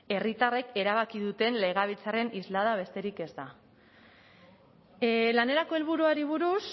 herritarrek erabaki duten legebiltzarraren islada besterik ez da lanerako helburuari buruz